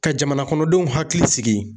Ka jamanakɔnɔdenw hakili sigi.